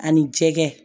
Ani jɛgɛ